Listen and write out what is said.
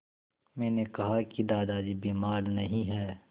मैंने कहा कि दादाजी बीमार नहीं हैं